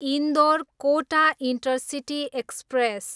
Indore, Kota intercity express